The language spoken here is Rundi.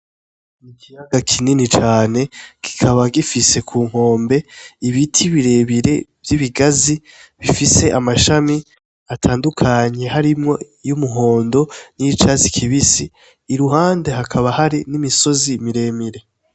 Ikiyaga kinini cane kikaba gifise kunkombe ibiti birebire vy'ibigazi bifise amashami atandukanye harimwo y'umuhondo, n'iyicatsi kibisi iruhande hakaba hari n'imisozi miremire.